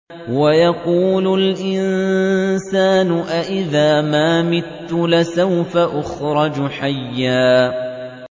وَيَقُولُ الْإِنسَانُ أَإِذَا مَا مِتُّ لَسَوْفَ أُخْرَجُ حَيًّا